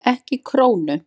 EKKI KRÓNU?